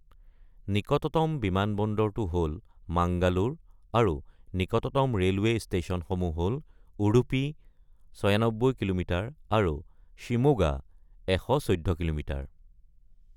নিকটতম বিমানবন্দৰটো হ'ল মাঙ্গালোৰ আৰু নিকটতম ৰেলৱে ষ্টেচনসমূহ হ'ল উডুপি, ৯৬ কিলোমিটাৰ, আৰু শিমোগা, ১১৪ কিলোমিটাৰ।